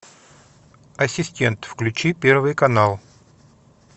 ассистент включи первый канал